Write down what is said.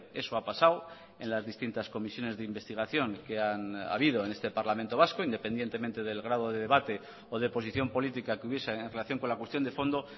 eso ha pasado en las distintas comisiones de investigación que han habido en este parlamento vasco independientemente del grado de debate o de posición política que hubiese en relación con la cuestión de fondo